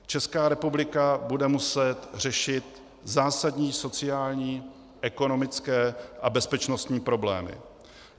Česká republika bude muset řešit zásadní sociální, ekonomické a bezpečnostní problémy.